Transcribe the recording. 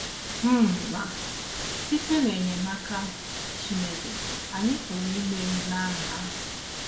um Ma, site n’enyemaka Chineke, anyị pụrụ imeri n’agha ahụ.